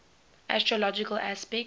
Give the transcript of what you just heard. astrological aspects